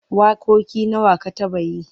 Waƙoƙi nawa ka taɓa yi?